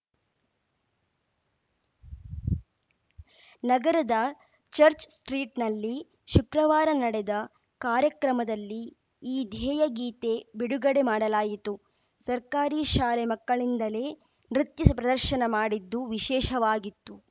ನಗರದ ಚರ್ಚ್ ಸ್ಟ್ರೀಟ್‌ನಲ್ಲಿ ಶುಕ್ರವಾರ ನಡೆದ ಕಾರ್ಯಕ್ರಮದಲ್ಲಿ ಈ ಧ್ಯೇಯ ಗೀತೆ ಬಿಡುಗಡೆ ಮಾಡಲಾಯಿತು ಸರ್ಕಾರಿ ಶಾಲೆ ಮಕ್ಕಳಿಂದಲೇ ನೃತ್ಯ ಪ್ರದರ್ಶನ ಮಾಡಿದ್ದು ವಿಶೇಷವಾಗಿತ್ತು